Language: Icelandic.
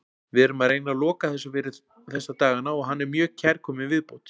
Við erum að reyna að loka þessu þessa dagana og hann er mjög kærkominn viðbót.